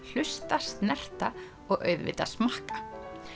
hlusta snerta og auðvitað smakka